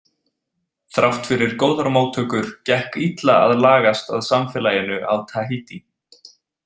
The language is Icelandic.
Þrátt fyrir góðar móttökur gekk illa að lagast að samfélaginu á Tahiti.